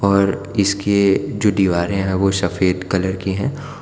और इसके जो दीवारे है वो सफेद कलर की है।